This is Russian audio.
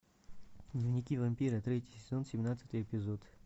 дневники вампира третий сезон семнадцатый эпизод